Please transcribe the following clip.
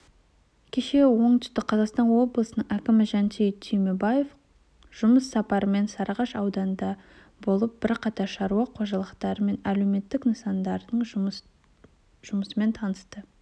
кеше оңтүстік қазақстан облысының әкімі жансейіт түймебаев жұмыс сапарымен сарыағаш ауданында болып бірқатар шаруа қожалықтары мен әлеуметтік нысандардың жұмысымен танысты